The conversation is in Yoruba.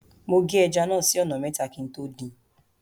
Mo gé ẹja náà sí ọ̀nà mẹ́ta kí n tó dín in.